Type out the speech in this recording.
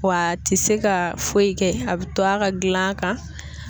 Wa a tɛ se ka foyi kɛ a bi to a ka gilan kan.